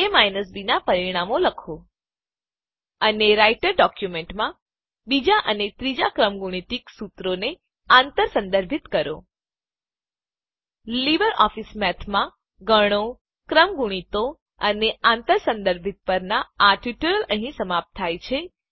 એ minus B નાં પરિણામો લખો અને રાઈટર ડોક્યુંમેંટમાં બીજાં અને ત્રીજા ક્રમગુણિત સુત્રોને આંતર સંદર્ભિત કરો લીબરઓફીસ મેથમાં ગણો ક્રમગુણિતો અને આંતર સંદર્ભિત પરનાં આ ટ્યુટોરીયલ અહીં સમાપ્ત થાય છે